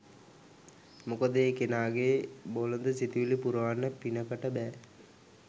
මොකද ඒ කෙනාගේ බොළඳ සිතුවිලි පුරවන්න පිනකට බෑ.